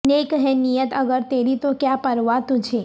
نیک ہے نیت اگر تیری تو کیا پروا تجھے